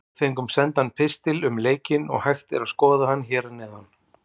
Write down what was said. Við fengum sendan pistil um leikinn og hægt er að skoða hann hér að neðan.